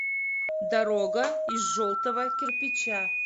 дорога из желтого кирпича